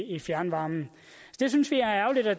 i fjernvarmen det synes vi er ærgerligt og